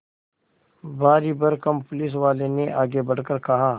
भारीभरकम पुलिसवाले ने आगे बढ़कर कहा